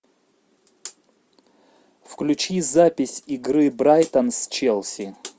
включи запись игры брайтон с челси